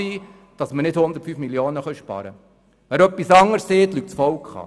Wer etwas anderes sagt, belügt das Volk.